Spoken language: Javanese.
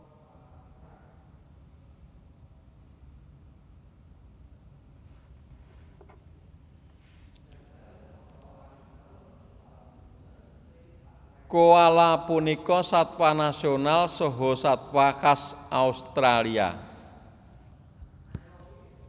Koala punika satwa nasional saha satwa khas Australia